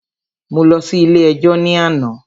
Mo lọ sí ilé ẹjọ́ ní àná.